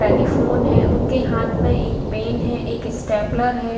Telephone है उनके पास में एक पेन है एक स्टेपलर है।